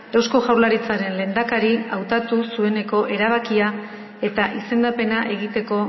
eusko jaurlaritzaren lehendakari hautatu zueneko erabakia eta izendapena egiteko